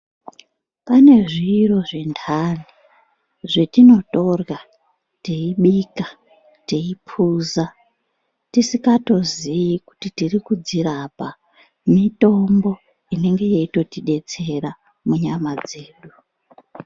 Panezviro zvindani zvetinotorya teyibika teyipuza tisikatoziyi kuti tiri kudzirapa mitombo inenge yeitotidetsara munyama dzedu